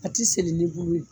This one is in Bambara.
A ti seli ni bulu ye